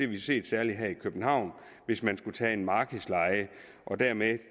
vi set særlig her i københavn hvis man skulle tage en markedsleje dermed